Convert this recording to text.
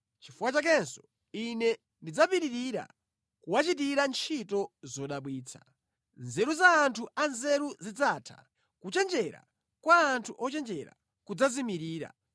Nʼchifukwa chakenso Ine ndidzapitirira kuwachitira ntchito zodabwitsa; nzeru za anthu anzeru zidzatha, luntha la anthu aluntha Ine ndidzalinyoza.”